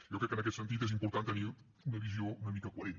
jo crec que en aquest sentit és important tenir una visió una mica coherent